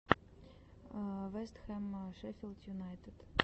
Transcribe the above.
вест хэм шеффилд юнайтед